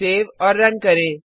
save और run करें